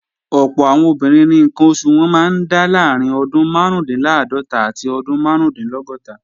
Ọ̀pọ̀ àwọn obìnrin ni ǹkan oṣù wọn máa ń dá láàrín ọdún márùúndínláàádọ́ta àti ọdún márùúndínlọ́gọ́ta